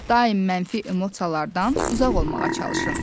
Daim mənfi emosiyalardan uzaq olmağa çalışın.